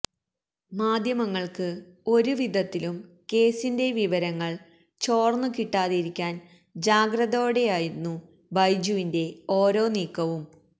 മാധ്യമങ്ങൾക്ക് ഒരു വിധത്തിലും കേസിന്റെ വിവരങ്ങൾ ചോർന്നുകിട്ടാതിരിക്കാൻ ജാഗ്രതയോടെയായിരുന്നു ബൈജുവിന്റെ ഓരോ നീക്കവും